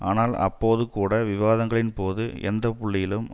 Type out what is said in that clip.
ஆனால் அப்போது கூட விவாதங்களின் போது எந்த புள்ளியிலும்